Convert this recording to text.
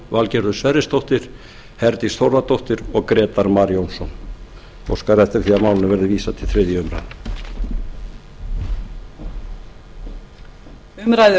valgerður sverrisdóttir herdís þórðardóttir og grétar mar jónsson ég óska eftir því að málinu verði vísað til þriðju umræðu